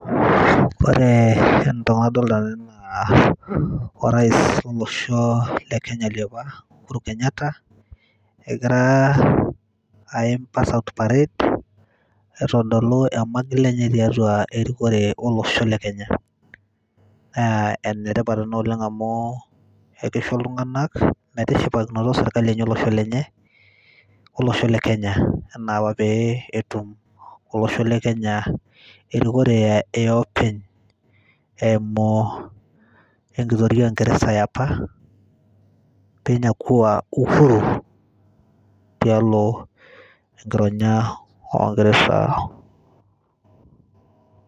Kore entoki nadolta tene naa orais lolosho le kenya le apa Uhuru Kenyatta egira aim paas out parade, aitodolu ormagil lenye tiatua erikore olosho le Kenya. Ee ene tipat ena oleng' amu keisho iltung'anak metishipakinoto serkali enye olosho lenye olosho le Kenya enaapa pee etum olosho le Kenya erikore e openy eimu enkitoria o ng'ereza e apa pee inyakua uhuru tialo enkironya ong'ereza.